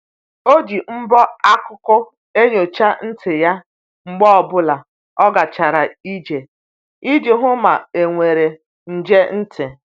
O ji mbọ akụkụ enyocha ntị ya mgbe ọ bụla o gachara ije iji hụ ma e nwere nje ntị.